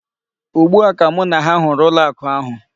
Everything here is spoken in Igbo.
Ugbu a ka mụ na ha hụrụ ụlọ akụ ahụ.